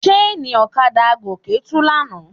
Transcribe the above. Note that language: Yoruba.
Ṣéènì ọ̀kadà Gòkè tú lánàá.